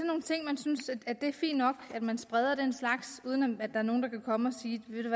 synes man at det er fint nok at man spreder den slags uden at der er nogen der kan komme og sige ved